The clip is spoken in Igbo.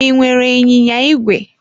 I nwere ịnyịnya ígwè?